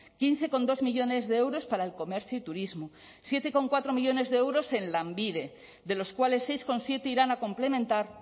quince coma dos millónes de euros para el comercio y turismo siete coma cuatro millónes de euros en lanbide de los cuales seis coma siete irán a complementar